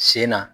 Sen na